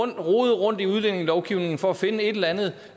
at rode rundt i udlændingelovgivningen for at finde et eller andet